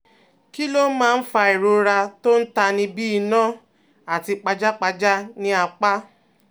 Kí ló máa ń fa ìrora tó ń tani bí iná àti pajápajá ní apá?